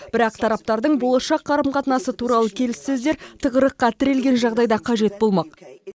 бірақ тараптардың болашақ қарым қатынасы туралы келіссөздер тығырыққа тірелген жағдайда қажет болмақ